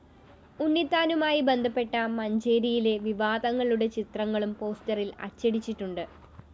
ഉണ്ണിത്താനുമായി ബന്ധപ്പെട്ട മഞ്ചേരിയിലെ വിവാദങ്ങളുടെ ചിത്രങ്ങളും പോസ്റ്ററിൽ അച്ചടിച്ചിട്ടുണ്ട്